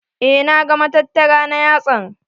Eh na ga matattara na yatsan.